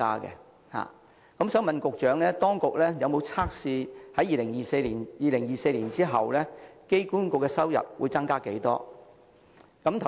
我想問局長，當局有否預測2024年後機管局的收入會增加多少？